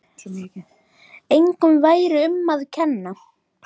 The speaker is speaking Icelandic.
Engum væri um að kenna.